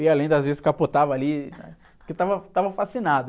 Eu ia lendo, às vezes, capotava ali, porque eu estava, estava fascinado.